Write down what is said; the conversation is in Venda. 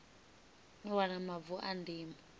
u wana mavu a ndimo